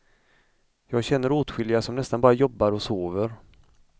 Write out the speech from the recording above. Jag känner åtskilliga som nästan bara jobbar och sover.